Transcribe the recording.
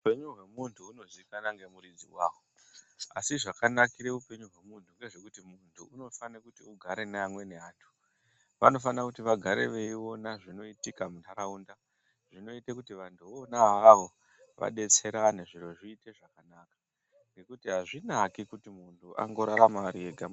Upenyu hwemuntu hunozikanwa ngemuridzi waho. Asi zvakanakira upenyu hwemuntu ngezvekuti muntu unofana kuti agare neamweni antu. Vanofana kuti vagare veiona zvinoitika munharaunda. Zvinoita kuti vantu vona avavo vadetserane zviro zviite zvakanaka. Ngekuti azvinaki kuti muntu angorarama ari ega.